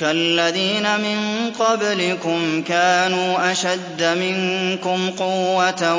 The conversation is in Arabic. كَالَّذِينَ مِن قَبْلِكُمْ كَانُوا أَشَدَّ مِنكُمْ قُوَّةً